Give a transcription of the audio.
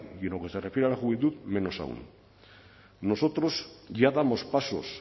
y en lo que se refiere a la juventud menos aun nosotros ya damos pasos